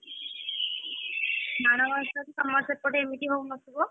ମାଣବସାକୁ ତମର ସେପଟେ ଏମତି ହଉ ନ ଥିବ?